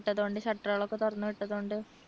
വിട്ടതുകൊണ്ട് shutter കൾ ഒക്കെ തുറന്നുവിട്ടത് കൊണ്ട്